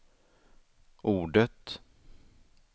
ordet